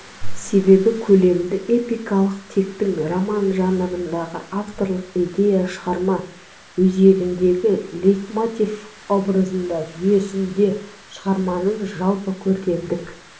себебі көлемді эпикалық тектің роман жанрындағы авторлық идея шығарма өзегіндегі лейтмотив образдар жүйесі шығарманың жалпы көркемдік